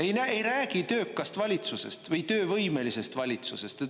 Ei näe, ei räägi töökast valitsusest või töövõimelisest valitsusest.